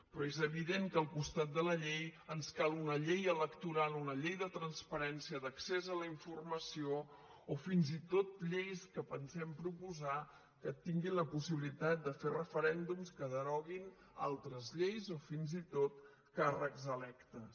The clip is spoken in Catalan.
però és evident que al costat de la llei ens cal una llei electoral una llei de transparència d’accés a la informació o fins i tot lleis que pensem proposar que tinguin la possibilitat de fer referèndums que deroguin altres lleis o fins i tot càrrecs electes